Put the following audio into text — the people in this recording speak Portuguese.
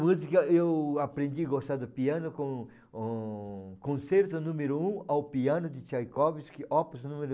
Música, eu aprendi a gostar do piano com o concerto número um ao piano de Tchaikovsky, Opus número